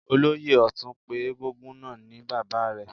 Olóyè Ọtun pé egúngún náà ni bàbá rẹ̀.